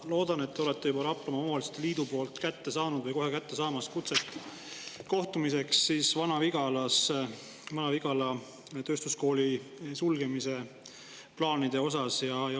Ma loodan, et te olete juba Raplamaa Omavalitsuste Liidult kätte saanud või kohe kätte saamas kutset kohtumiseks Vana-Vigala kooli sulgemise plaanide teemal.